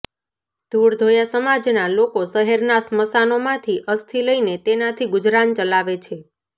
ધૂળધોયા સમાજના લોકો શહેરના સ્મશાનોમાંથી અસ્થિ લઈને તેનાથી ગુજરાન ચલાવે છે